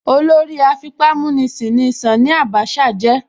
Olórí afipámúnisìn ni Ṣání Àbáṣà jẹ́.